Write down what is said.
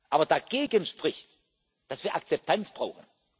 wir. Aber dagegen spricht, dass wir Akzeptanz brauchen.